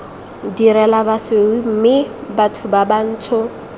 direla basweu mme batho bantsho